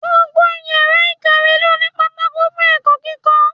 Gbogbo yàrá ìkàwé ló ní pátákó fún ẹ̀kọ́ kíkọ́.